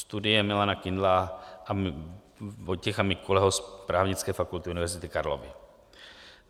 Studie Milana Kindla a Vojtěcha Mikuleho z Právnické fakulty Univerzity Karlovy.